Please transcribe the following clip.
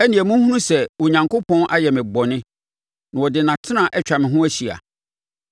ɛnneɛ monhunu sɛ Onyankopɔn ayɛ me bɔne na ɔde nʼatena atwa me ho ahyia.